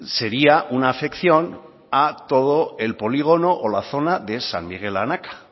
sería una afección a todo el polígono o la zona de san miguel anaka